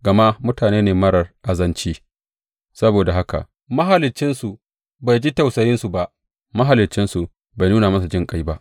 Gama mutane ne marar azanci; saboda haka Mahaliccinsu bai ji tausayinsu ba, Mahaliccinsu bai nuna musu jinƙai ba.